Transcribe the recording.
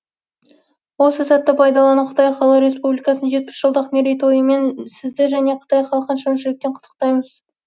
осы сәтті пайдаланып қытай халық республикасын жетпіс жылдық мерейтойымен сізді және қытай халқын шын жүректен құттықтаймыз